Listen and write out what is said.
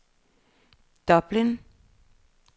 Dublin